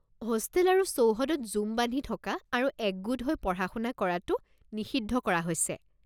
Hostel আৰু চৌহদত জুম বান্ধি থকা আৰু একগোট হৈ পঢ়া শুনা কৰাটো নিষিদ্ধ কৰা হৈছে।